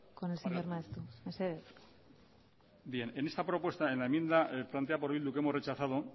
con el señor maeztu mesedez barkatu en esta propuesta en la enmienda planteada por bildu que hemos rechazado